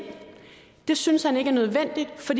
det synes han ikke er nødvendigt for